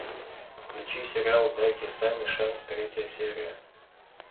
включи сериал дайте санни шанс третья серия